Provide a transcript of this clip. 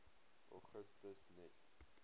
augustus net